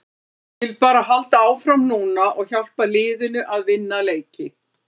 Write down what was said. Ég vil bara halda áfram núna og hjálpa liðinu að vinna leiki.